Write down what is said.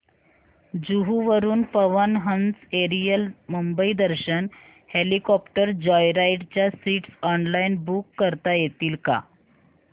जुहू वरून Pawan Hans aerial Mumbai Darshan helicopter joyride च्या seats online book करता येतील का